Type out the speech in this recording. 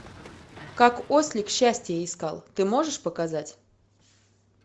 как ослик счастье искал ты можешь показать